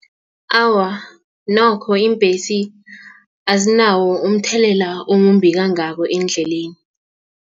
Awa nokho, iimbhesi azinawo umthelela omumbi kangako eendleleni.